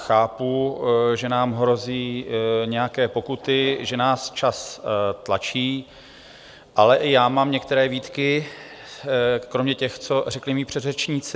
Chápu, že nám hrozí nějaké pokuty, že nás čas tlačí, ale i já mám některé výtky kromě těch, co řekli mí předřečníci.